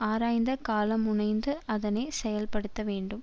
ஆராய்ந்த காலமுனைந்து அதனை செயல்படுத்தவேண்டும்